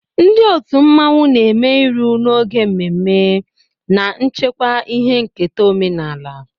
Ndị otu mmanwụ na-eme iru n'oge mmemme, na-echekwa ihe nketa omenala.